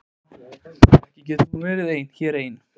Ekki getur hún verið hér ein.